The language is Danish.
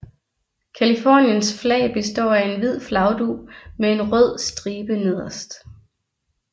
Californiens flag består af en hvid flagdug med en rød stribe nederst